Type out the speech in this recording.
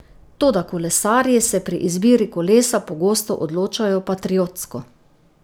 Toda kolesarji se pri izbiri kolesa pogosto odločajo patriotsko.